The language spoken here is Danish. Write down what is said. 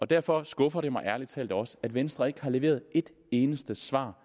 derfor skuffer det mig ærlig talt også at venstre ikke har leveret et eneste svar